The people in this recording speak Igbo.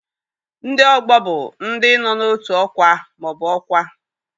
Ndị ọgbọ bụ ndị nọ n'otu ọkwa ma ọ bụ ọkwa.